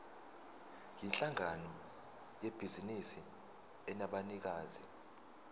yinhlangano yebhizinisi enabanikazi